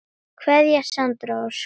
Kveðja Sandra Ósk.